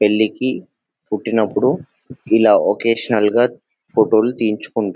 పెళ్లి చేస్కుంప్పుడు ఇలా ఒకేషనల్ గా ఫోటోలు తీసుకున్నా--